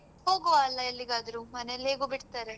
ಹೋಗ್ವಾ ಅಲ್ಲ ಎಲ್ಲಿಗಾದ್ರು ಮನೇಲ್ ಹೇಗು ಬಿಡ್ತಾರೆ.